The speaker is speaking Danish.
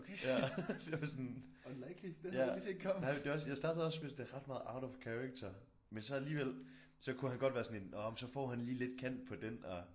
Ja det var sådan ja det var det var også jeg startede med at synes det er ret meget out of character men så alligevel så kunne han godt være sådan en nåh så får han lige lidt kant på den og